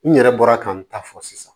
N yɛrɛ bɔra ka n ta fɔ sisan